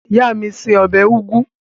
Ìyá mi se ọbẹ̀ úgú